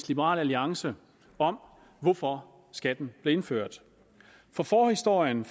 liberal alliance om hvorfor skatten blev indført for forhistorien